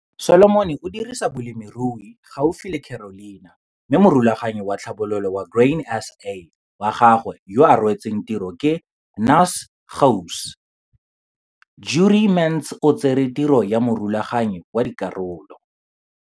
Solomon o dirisa bolemirui gaufi le Carolina mme Morulaganyi wa Tlhabololo wa Grain SA wa gagwe yo a rwetseng tiro, ke Naas Gouws. Jurie Mentz o tsere tiro ya morulaganyi wa dikgaolo.